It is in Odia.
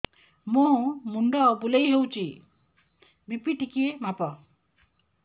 ମୋ ମୁଣ୍ଡ ବୁଲେଇ ହଉଚି ବି.ପି ଟିକେ ମାପ